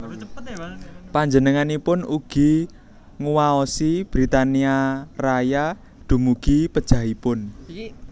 Panjenenganipun ugi nguwaosi Britania Raya dumugi pejahipun